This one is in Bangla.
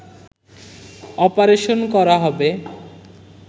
অপারেশন করা হবে